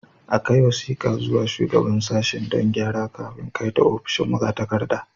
A kai wasiƙar zuwa ga Shugaban Sashen don gyara kafin kai ta ofishin magatakarda.